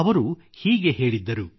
ಅವರು ಹೀಗೆ ಹೇಳಿದ್ದರು